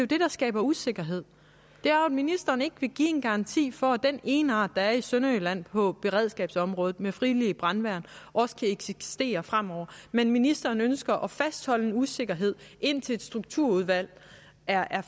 det der skaber usikkerhed ministeren vil ikke give en garanti for at den egenart der er i sønderjylland på beredskabsområdet med frivillige brandmænd også kan eksistere fremover men ministeren ønsker at fastholde en usikkerhed indtil strukturudvalget er